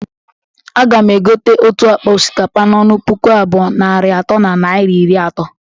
Aga m egote otu akpa osikapa n'ọnụ puku abụọ, narị atọ na naira iri atọ